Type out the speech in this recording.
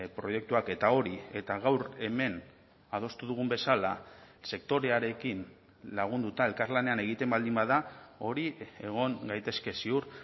proiektuak eta hori eta gaur hemen adostu dugun bezala sektorearekin lagunduta elkarlanean egiten baldin bada hori egon gaitezke ziur